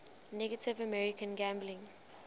native american gambling